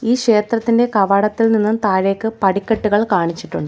ഈ ക്ഷേത്രത്തിന്റെ കവാടത്തിൽ നിന്നും താഴേക്ക് പടിക്കെട്ടുകൾ കാണിച്ചിട്ടുണ്ട്.